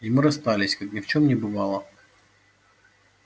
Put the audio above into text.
и мы расстались как ни в чем не бывало